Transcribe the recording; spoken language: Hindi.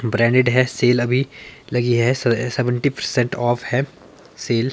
ब्रैंडेड है सेल अभी लगी है स सेवन्टी पर्सेंट ऑफ है सेल ।